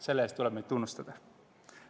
Selle eest tuleb neid tunnustada.